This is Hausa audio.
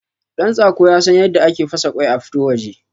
Ɗantsako yasan yadda ake fasa kwai a fito waje